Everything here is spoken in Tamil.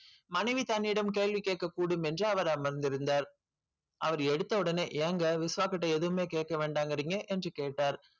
மனைவி தன் இடம் கேள்வி கேக்க கூடும் என்று அவர் அமர் இருந்தார் அவர் எடுத்த ஒடனே ஏங்க விஸ்வ கிட்ட எதுமே கேக்க வேண்டாகிறிங்க என்று கேட்டார்.